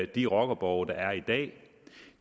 de rockerborge der er i dag